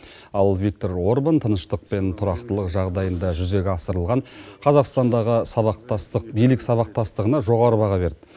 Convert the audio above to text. ал виктор орбан тыныштық пен тұрақтылық жағдайында жүзеге асырылған қазақстандағы сабақтастық билік сабақтастығына жоғары баға берді